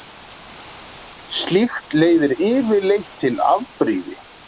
Slíkt leiðir yfirleitt til afbrýði.